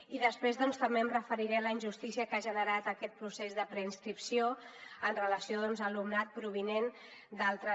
i després també em referiré a la injustícia que ha generat aquest procés de preinscripció amb relació a alumnat provinent d’altres